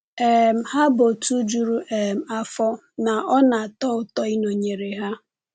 um Ha bụ òtù juru um afọ, na ọ na-atọ ụtọ ịnọnyere ha.